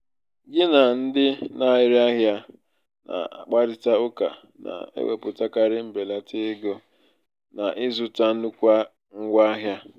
gị na ndị na-ere ahịa na-akparịta ụka na-ewepụtakarị mbelata ego n'ịzụta nnukwu ngwa ahịa.